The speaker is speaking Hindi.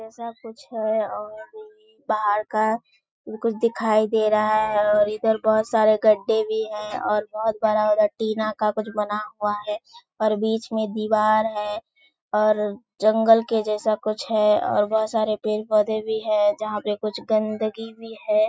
ऐसा कुछ है और बाहर का कुछ दिखाई दे रहा है और इधर बहुत सारे गढ्ढे भी हैं और बहुत बड़ा टीना का कुछ बना हुआ है और बीच में दीवार है और जंगल के जैसा कुछ है और बहुत सारे पेड़ पौधे भी है जहाँ पे कुछ गंदगी भी है।